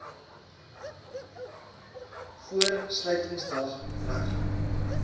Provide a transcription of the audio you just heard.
voor sluitingsdag reg